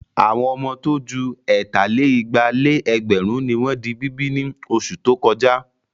Àwọn ọmọ tó ju ẹ̀tà-lé-igba-lé-ẹgbẹ̀rún ni wọ́n di bíbí ní oṣù tó kọjá.